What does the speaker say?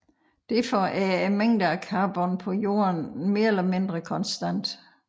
Derfor er mængden af carbon på Jorden mere eller mindre konstant